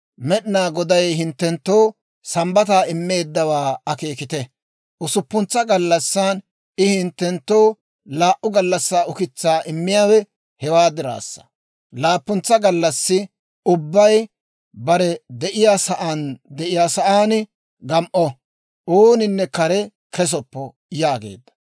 Med'inaa Goday hinttenttoo Sambbataa immeeddawaa akeekite; usuppuntsa gallassan I hinttenttoo laa"u gallassaa ukitsaa immiyaawe hewaa diraassa. Laappuntsa gallassi ubbay bare de'iyaa sa'aan de'iyaa sa'aan gam"o; ooninne kare kesoppo» yaageedda.